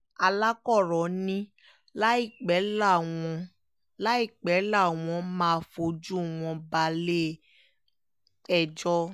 alakkóró ni láìpẹ́ làwọn láìpẹ́ làwọn máa fojú wọn balẹ̀-ẹjọ́